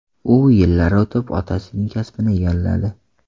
U yillar o‘tib, otasining kasbini egalladi.